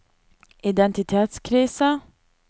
identitetskrise